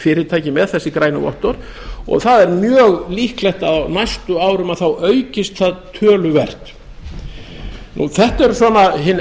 fyrirtæki með þessi grænu vottorð og það er mjög líklegt að á næstu árum þá aukist það töluvert þetta